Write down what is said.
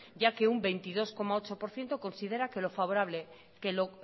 ya que un veintidós coma ocho por ciento considera que lo